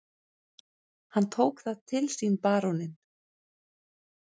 Hann tók það til sínBaróninn